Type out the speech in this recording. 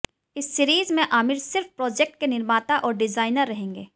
इस सीरीज में आमिर सिर्फ प्रोजेक्ट के निर्माता और डिजाइनर रहेंगे